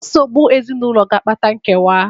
Nsogbu ezinụlọ ga-akpata nkewa.